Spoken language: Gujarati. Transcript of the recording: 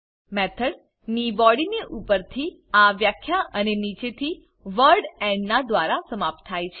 મેથોડ ની બોડીને ઉપરથી આ વ્યાખ્યા અને નીચે થી વર્ડ એન્ડ ના દ્વારા સમાપ્ત થાય છે